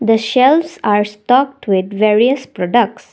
the shelves are stucked with various products.